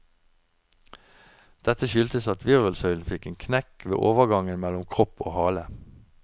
Dette skyldtes at virvelsøylen fikk en knekk ved overgangen mellom kropp og hale.